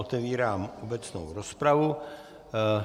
Otevírám obecnou rozpravu.